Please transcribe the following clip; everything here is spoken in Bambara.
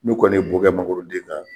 N'u kɔni bo kɛ mangoro den na